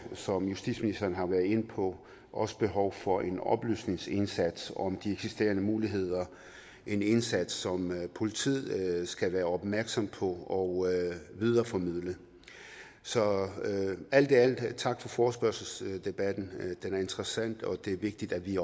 som justitsministeren har været inde på også behov for en oplysningsindsats om de eksisterende muligheder en indsats som politiet skal være opmærksom på og videreformidle så alt i alt tak for forespørgselsdebatten den er interessant og det er vigtigt at vi